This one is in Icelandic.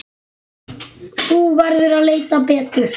Þú verður að leita betur.